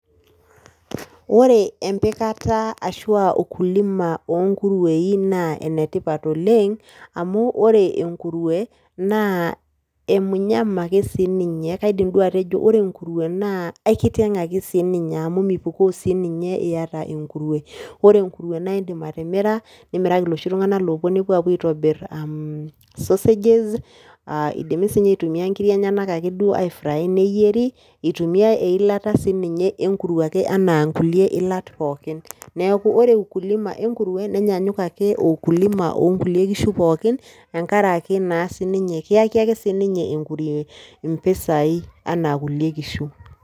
Ore empikata ashu ukulima ongurueni na enetipat oleng amu ore enkurue na e munyama ake sininye, kaidim nai atejo ore nkurueni na aikiteng aisinye amu mipukoo iyata enkurue, ore enkurue naindim atimira nimiraki loshivtunganak opuo aitobir mmmh sausages indimi si aitumia nkiri enye aifraya neyieri, itumiai eilata sininye enkurue anaa nkulie ilaa pookin, neaku ore ukilima enkurue nenyanyuk ake o ukulima onkulie kishu pookin tenkaraki ake kiyaki ake sininye mpisai anaa kulie kishu.